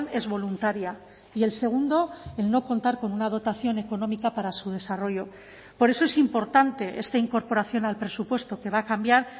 es voluntaria y el segundo el no contar con una dotación económica para su desarrollo por eso es importante esta incorporación al presupuesto que va a cambiar